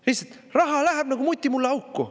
Lihtsalt raha läheb nagu mutimullaauku.